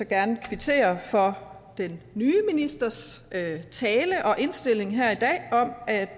gerne kvittere for den nye ministers tale og indstilling her i dag om at